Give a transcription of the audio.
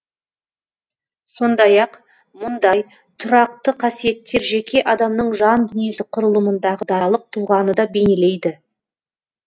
сондай ақ мұндай тұрақты қасиеттер жеке адамның жан дүниесі құрылымындағы даралық тұлғаны да бейнелейді